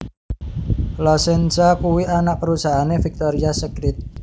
La Senza kuwi anak perusahaane Victoria Secret